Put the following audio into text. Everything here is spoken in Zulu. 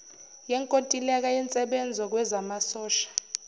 yenkontileka yensebenzo kwezamasosha